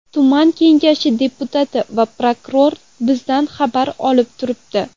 Tuman kengashi deputati va prokuror bizdan xabar olib turibdi.